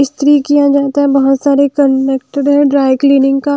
इस्त्री किया जाता है बहुत सारे कनेक्टेड है ड्राई क्लीनिंग का --